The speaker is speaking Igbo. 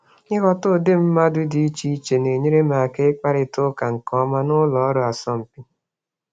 Ịghọta àgwà dị iche iche na-enyere m aka ikwurịta okwu nke ọma n'ụlọ ọrụ asọmpi.